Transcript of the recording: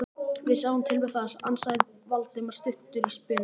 Við sjáum til með það- ansaði Valdimar stuttur í spuna.